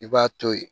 I b'a to ye